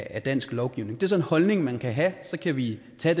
af dansk lovgivning det er så en holdning man kan have så kan vi tage